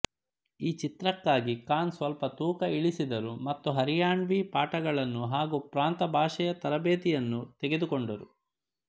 ಈ ಚಿತ್ರಕ್ಕಾಗಿ ಖಾನ್ ಸ್ವಲ್ಪ ತೂಕ ಇಳಿಸಿದರು ಮತ್ತು ಹರಿಯಾಣವಿ ಪಾಠಗಳನ್ನು ಹಾಗೂ ಪ್ರಾಂತ ಭಾಷೆಯ ತರಬೇತಿಯನ್ನು ತೆಗೆದುಕೊಂಡರು